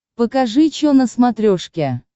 покажи че на смотрешке